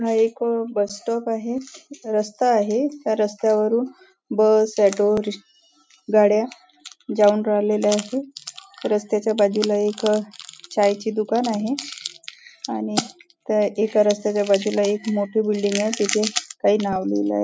हा एक bus stop आहे रस्ता आहे रस्त्यावरून बस ऑटो गाड्या जाऊन राहिलेल्या आहेत रस्त्याच्या बाजूला एक चायची दुकान आहे आणि एका रस्त्याच्या बाजूला एक मोठी बिल्डिंग आहे तिथे काही नाव लिहिल आहे.